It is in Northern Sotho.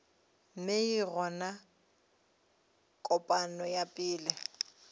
mei gomme kopano ya pele